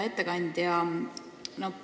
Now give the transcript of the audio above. Hea ettekandja!